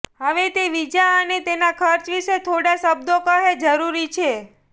હવે તે વિઝા અને તેના ખર્ચ વિશે થોડા શબ્દો કહે જરૂરી છે